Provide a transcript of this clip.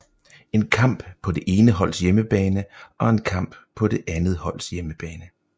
En kamp på det ene holds hjemmebane og en kamp på det andets hold hjemmebane